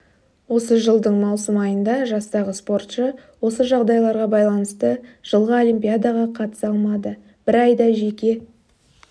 осы жылдың маусым айында жастағы спортшы осы жағдайларға байланысты жылғы олимпиадаға қатыса алмады бір айда жеке